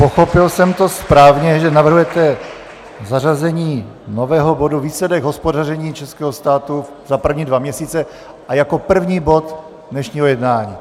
Pochopil jsem to správně, že navrhujete zařazení nového bodu Výsledek hospodaření českého státu za první dva měsíce a jako první bod dnešního jednání?